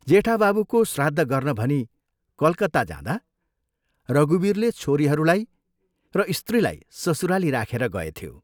जेठा बाबुको श्राद्ध गर्न भनी कलकत्ता जाँदा रघुवीरले छोरीहरूलाई र स्त्रीलाई ससुराली राखेर गएथ्यो।